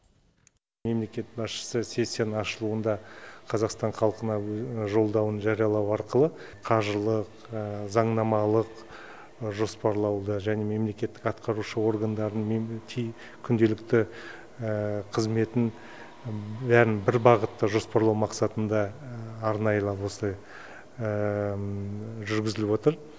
мемлекет басшысы сессияның ашылуында қазақстан халқына жолдауын жариялау арқылы қаржылық заңнамалық жоспарлауды және мемлекеттік атқарушы органдардың күнделікті қызметін бәрін бір бағытта жоспарлау мақсатында арнайылап осылай жүргізіліп отыр